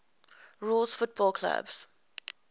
rules football clubs